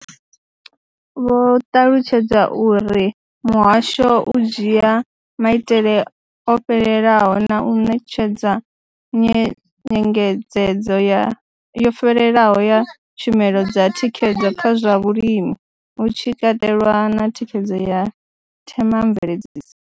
Vho ṱalutshedza uri muhasho u dzhia maitele o fhelelaho na u ṋetshedza nyengedzedzo yo fhelelaho ya tshumelo dza thikhedzo kha zwa vhulimi, hu tshi katelwa na thikhedzo ya Thema mveledziso.